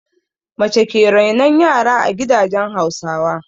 Mace ke renon yara a gidajen Hausawa.